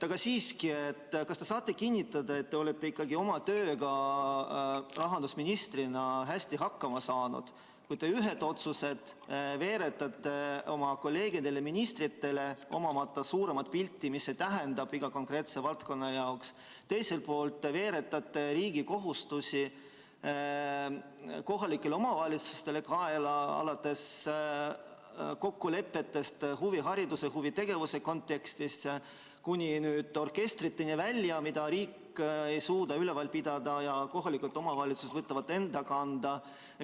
Aga siiski, kas te saate kinnitada, et te olete ikkagi oma tööga rahandusministrina hästi hakkama saanud, kui te ühed otsused veeretate oma kolleegidele ministritele, omamata suuremat pilti, mis see tähendab iga konkreetse valdkonna jaoks, teiselt poolt veeretate riigi kohustusi kohalike omavalitsuste kaela, alates kokkulepetest huvihariduse ja huvitegevuse kontekstis kuni orkestriteni välja, mida riik ei suuda üleval pidada ja kohalikud omavalitsused võtavad nad enda kanda?